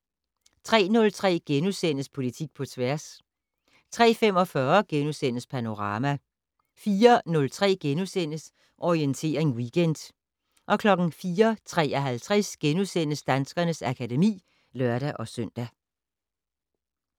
03:03: Politik på tværs * 03:45: Panorama * 04:03: Orientering Weekend * 04:53: Danskernes akademi *(lør-søn)